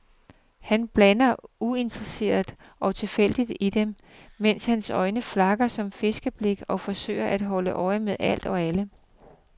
Han bladrer uinteresseret og tilfældigt i dem, mens hans øjne flakker som fiskeblink og forsøger at holde øje med alt og alle.